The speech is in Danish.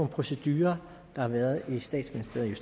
procedurer der har været i statsministeriet